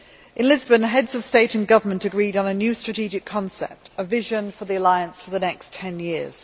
In Lisbon, the Heads of State and Government agreed on a new strategic concept, a vision for the alliance for the next ten years.